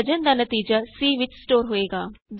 ਵਿਭਾਜਨ ਦਾ ਨਤੀਜਾ c ਵਿਚ ਸਟੋਰ ਹੋਵੇਗਾ